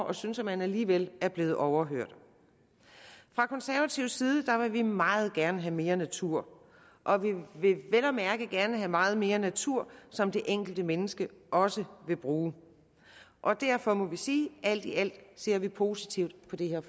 og synes at man alligevel er blevet overhørt fra konservatives side vil vi meget gerne have mere natur og vi vil vel og mærke gerne have meget mere natur som det enkelte menneske også vil bruge og derfor må vi sige alt i alt ser vi positivt på det her